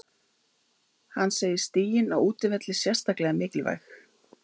Hann segir stigin á útivelli sérstaklega mikilvæg.